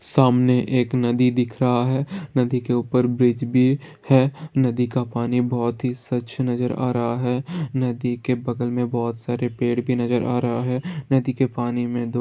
सामने एक नदी दिख रहा है नदी के ऊपर ब्रिज भी है नदी का पानी बहुत ही स्वच्छ नजर आ रहा है नदी के बगल में बहुत सारा पेड़ भी नजर आ रहा है नदी के पानी में दो --